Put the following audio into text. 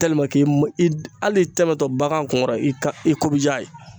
hali tɛmɛtɔ bagan kunkɔrɔ i ka i ko bi diya a ye